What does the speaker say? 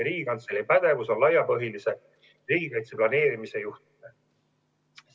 Riigikantselei pädevus on laiapõhjalise riigikaitse planeerimise juhtimine.